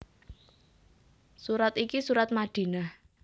Surat iki surat Madinah